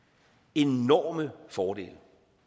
enorme fordele